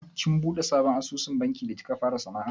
Kin buɗe sabon asusun banki da kika fara sana'a?